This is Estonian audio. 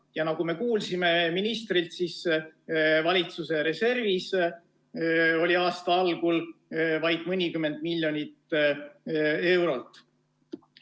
Ja nagu me kuulsime ministrilt, oli valitsuse reservis aasta algul vaid mõnikümmend miljonit eurot.